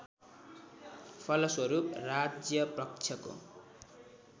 फलस्वरूप राज्यपक्षको